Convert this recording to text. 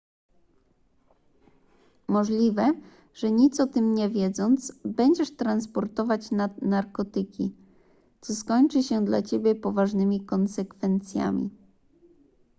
możliwe że nic o tym nie wiedząc będziesz transportować narkotyki co skończy się dla ciebie poważnymi konsekwencjami